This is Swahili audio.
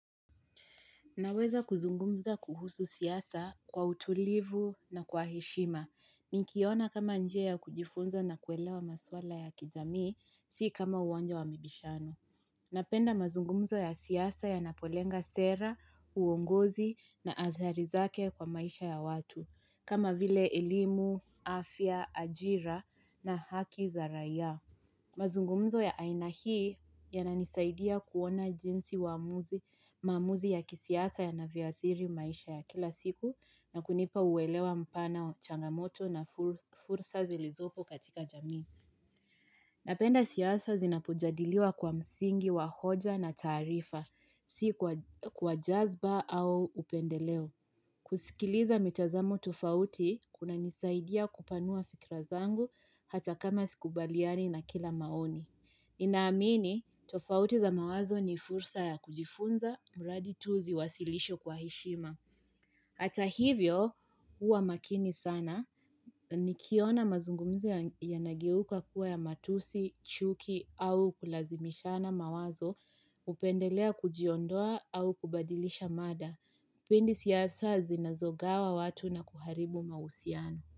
Naweza kuzungumza kuhusu siasa kwa utulivu na kwa heshima. Nikiona kama njia ya kujifunza na kuelewa maswala ya kijamii, si kama uonja wa mibishano. Napenda mazungumzo ya siyasa yanapolenga sera, uongozi na athari zake kwa maisha ya watu. Kama vile elimu, afya, ajira na haki za raia. Mazungumzo ya aina hii yananisaidia kuona jinsi uamuzi ya kisiasa yana vyoathiri maisha ya kila siku na kunipa uwelewa mpana changamoto na fursa zilizopo katika jamii. Napenda siasa zinapujadiliwa kwa msingi wa hoja na taarifa, si kwa jazba au upendeleo. Kusikiliza mitazamo tofauti, kuna nisaidia kupanua fikira zangu hata kama sikubaliani na kila maoni. Ninaamini, tofauti za mawazo ni fursa ya kujifunza, muradi tu ziwasilishwe kwa heshima. Ata hivyo, huwa makini sana, nikiona mazungumzo yanageuka kuwa ya matusi, chuki au kulazimishana mawazo, upendelea kujiondoa au kubadilisha mada. Pindi siasa zinazogawa watu na kuharibu mahusiano.